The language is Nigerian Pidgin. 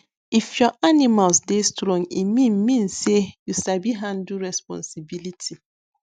if your animals dey strong e mean mean say you sabi handle responsibility